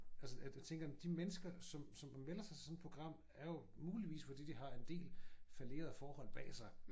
Altså at jeg tænker de mennesker som som melder sig til sådan et program er jo muligvis fordi de har en del fallerede forhold bag sig